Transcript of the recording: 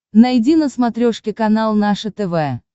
найди на смотрешке канал наше тв